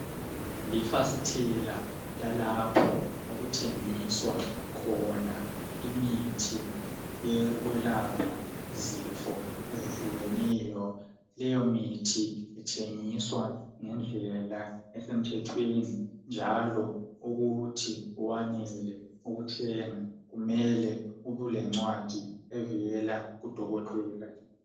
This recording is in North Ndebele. Lifasitela lalapho okuthengiswa khona imithi yokwelapha izifo ezihlukeneyo. Leyo mithi ithengiswa ngendlela esemthethweni njalo ukuthi wanelise ukuthenga, kumele ubulencwadi evela kudokotela.